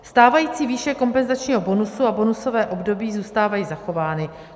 Stávající výše kompenzačního bonusu a bonusové období zůstávají zachovány.